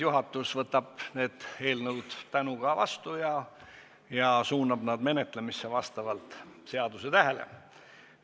Juhatus võtab selle eelnõu tänuga vastu ja suunab selle menetlemisse vastavalt seadustähele.